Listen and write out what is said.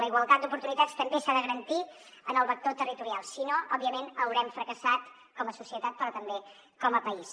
la igualtat d’oportunitats també s’ha de garantir en el vector territorial si no òbviament haurem fracassat com a societat però també com a país